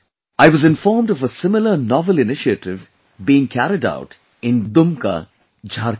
I was informed of a similar novel initiative being carried out in Dumka, Jharkhand